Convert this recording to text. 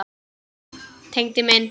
Tengdi minn.